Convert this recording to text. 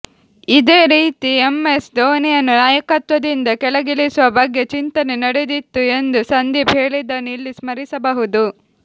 ಇದೇ ರೀತಿ ಎಂಎಸ್ ಧೋನಿಯನ್ನು ನಾಯಕತ್ವದಿಂದ ಕೆಳಗಿಳಿಸುವ ಬಗ್ಗೆ ಚಿಂತನೆ ನಡೆದಿತ್ತು ಎಂದು ಸಂದೀಪ್ ಹೇಳಿದ್ದನ್ನು ಇಲ್ಲಿ ಸ್ಮರಿಸಬಹುದು